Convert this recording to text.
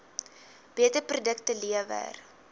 beter produkte lewer